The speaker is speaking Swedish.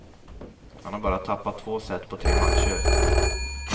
Han har bara tappat två set på tre matcher.